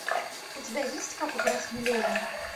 у тебя есть как украсть миллион